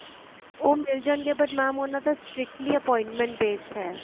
ਉਹ ਮਿਲ ਜਾਣਗੇ but mam ਉਹਨਾ ਦਾ strictly appointment based ਹੈ